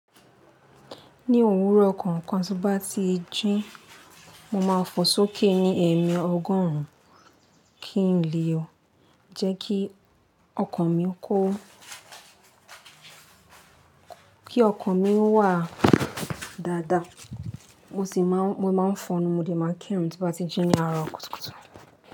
Ní òwúrọ̀ kọ̀ọ̀kan tí n bá ti jín, mo máa fò sókè ní ẹ̀mẹ ọgọ́rùn-ún kí n lè jẹ́ kí ọkàn mi kó, kí ọkàn mí wà dáadáa. Mo sì máa, mo máa ń fọnú, mo dẹ̀ máa ń kírùn tí n bá ti jín ní àárọ̀ kùtùkùtù.